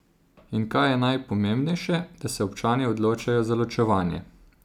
In kaj je najpomembnejše, da se občani odločijo za ločevanje?